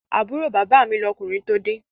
Àbúrò bàbá mi lọ́kùnrin tide